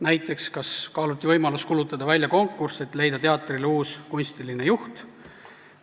Näiteks, kas kaaluti võimalust kuulutada välja konkurss, et leida teatrile uus kunstiline juht?